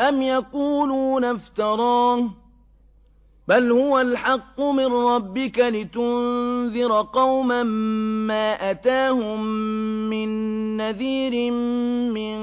أَمْ يَقُولُونَ افْتَرَاهُ ۚ بَلْ هُوَ الْحَقُّ مِن رَّبِّكَ لِتُنذِرَ قَوْمًا مَّا أَتَاهُم مِّن نَّذِيرٍ مِّن